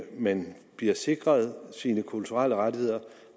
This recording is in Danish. man bliver sikret sine kulturelle rettigheder